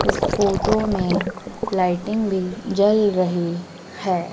इस फोटो में लाइटिंग भी जल रही है।